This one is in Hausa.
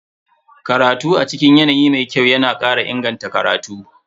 Karatu a cikin yanayi mai kyau yana kara inganta karatu.